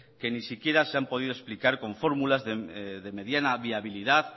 que ni siquiera se han podido explicar con fórmulas de mediana viabilidad